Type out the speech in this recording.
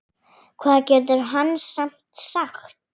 Hvað getur hann samt sagt?